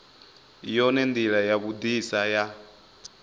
yone ndila ya vhudisa ya